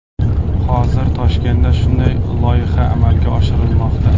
Hozir Toshkentda shunday loyiha amalga oshirilmoqda.